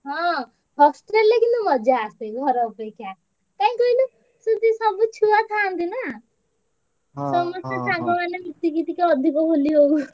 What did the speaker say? ହଁ hostel ରେ କିନ୍ତୁ ମଜା ଆସେ ଘର ଅପେକ୍ଷା କାଇଁ କହିଲୁ ସେଠି ସବୁ ଛୁଆଥାନ୍ତି ନାଁ, ସମସ୍ତେ ସାଙ୍ଗ ମାନେ ମିଶିକି ଅଧିକ ହୋଲି ହଉଛନ୍ତି।